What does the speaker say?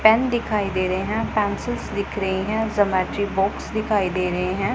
Pen दिखाई दे रहें हैं पेंसिल्स दिख रही है जोमेट्री बॉक्स दिखाई दे रहें हैं।